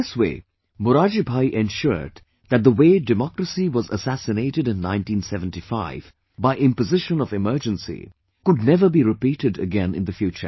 In this way, Morarji Bhai ensured that the way democracy was assassinated in 1975 by imposition of emergency, could never be repeated againin the future